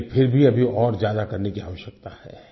लेकिन फिर भी अभी और ज्यादा करने की आवश्यकता है